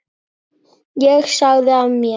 Ég sagði af mér.